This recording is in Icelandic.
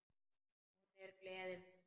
Hún er gleði mín.